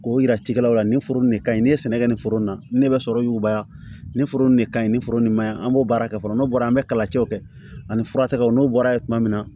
K'o yira cikɛlaw la nin foro in de ka ɲi ni ye sɛnɛ kɛ nin foro in na ni ne bɛ sɔrɔ yuguba nin foro nin de kaɲi ni foro in maɲi an b'o baara kɛ fɔlɔ n'o bɔra an bɛ kalacɛw kɛ ani furataw n'o bɔra ye tuma min na